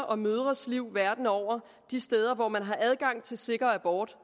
og mødres liv verden over de steder hvor man har adgang til sikker abort